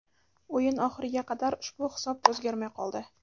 O‘yin oxiriga qadar ushbu hisob o‘zgarmay qoldi.